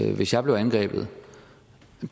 i hvis jeg blev angrebet